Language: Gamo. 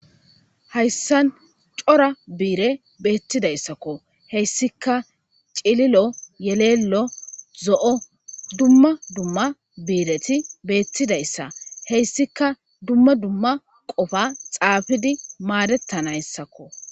Hayssan c'ora bi7iirey beettidayssako hessikka cililo, yelello zo7o dumma dumma biiretidayssa hessika dumma dumma qopa xaapidi maadetta nayssako